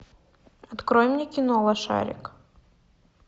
открой мне кино лошарик